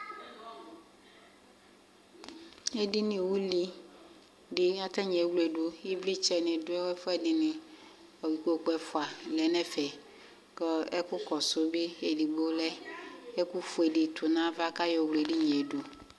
edini uli di atanie wle du ivlitchɛ di du ɛfuɛ dini ikpoku ɛfua lɛ nɛ fɛ kɔ ɛku kɔsu bi edigbo bi edigbo ɔlɛ ɛkufue di tu nava k'ayɔ wl'edinie du